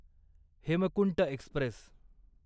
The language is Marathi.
हेमकुंट एक्स्प्रेस